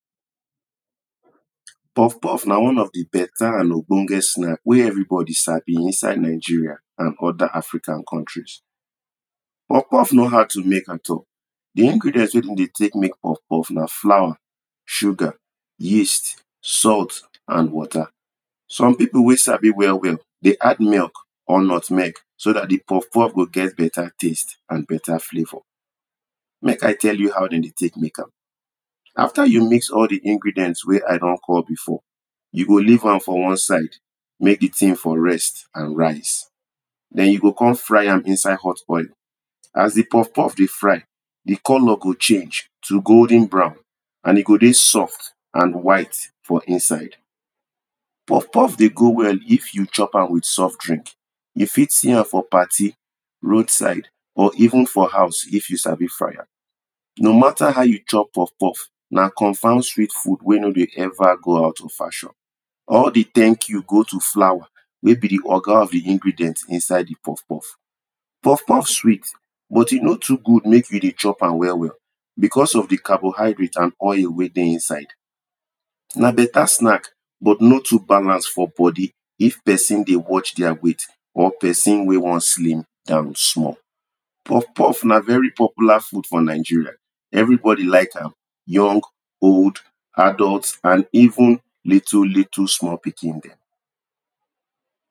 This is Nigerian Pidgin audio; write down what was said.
Puff-puff na one of di better and ogbonge snack wey every body sabi inside Nigeria and other African countries. Puff-puff no hard to make at all di ingredients wey dem dey take make Puff-puff na flour, sugar, yeast, salt and water. Some people wen sabi well well dey add milk or nutmeg so dat di Puff-puff go get better taste and better flavour, make I tell you how dem dey take make am, after you mix all di ingredients wey I don call before, you go leave am for one side make di thing for rest and rise. den you go come fry am inside hot oil as di Puff-puff dey fry, di colour go change to golden brown and e go dey soft and white for inside. Puff-puff dey go well if you chop am with soft drink. You fit see am for party, road side or even for house if you sabi fry am. No matter how you chop Puff-puff na confirm sweet food wen nor dey ever go out of fashion. All di thank you go to flour wen be di oga of the ingredient inside di Puff-puff. Puff-puff sweet but e no too good make you dey chop am well well because of di carbohydrate and oil wen dey inside. Na better snack, but no too balance for body if person dey watch their weight or person wen wan slim down small. Puff-puff na very popular food for Nigeria, everybody like am young, old, adult and even little little small pikin dem.